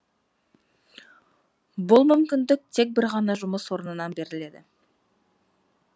бұл мүмкіндік тек бір ғана жұмыс орнынан беріледі